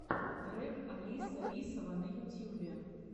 трек алиса лисова на ютьюбе